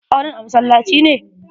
Auren a masallaci ne?